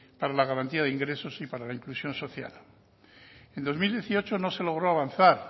para la garantía de ingresos y para la inclusión social en dos mil dieciocho no se logró avanzar